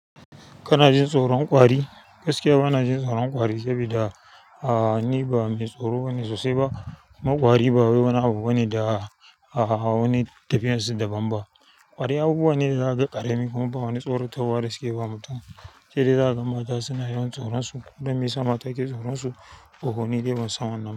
Kana jin tsoron ƙwari? Gaskiya bana jin tsoron ƙwari sabida ni ba me tsaro bane sosai ba. Ma ƙwari ba wani abu bane da a hawa ne da tafiyan su daban ba. Ƙwari abubuwa ne da zaka ƙarami kuma ba wani tsarotarwa da suke ba mutum. Shi dai za a gan mata suna yawan tsoron su don me sa mata ke tsoron su, ohi ni dai ban san wannan ba.